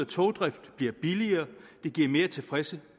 togdriften billigere og det giver mere tilfredse